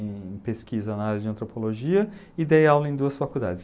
em pesquisa na área de antropologia e dei aula em duas faculdades.